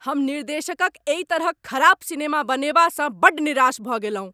हम निर्देशकक एहि तरहक खराब सिनेमा बनेबासँ बड्ड निराश भऽ गेलहुँ।